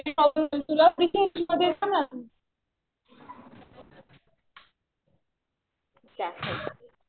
Range problem त्या साईडचा.